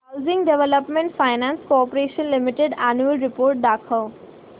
housing development finance corporation limited annual report दाखव